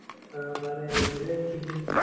ആ പറയി എന്തിനാ തെറ്റിക്ണ്